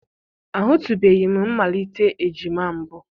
Ahụtụbeghị m mmalite ejima mbụ.